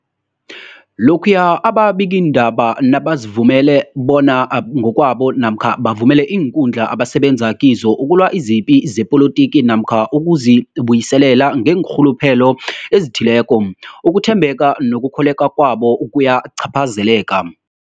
Lokhuya ababikiindaba nabazivumela bona ngokwabo namkha bavumele iinkundla abasebenza kizo ukulwa izipi zepolitiki namkha ukuzi buyiselela ngeenrhuluphelo ezithileko, ukuthembeka nokukholweka kwabo kuyacaphazeleka.